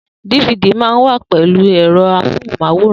Difidi mà ń wà pẹlu èrò móhùn máwòrán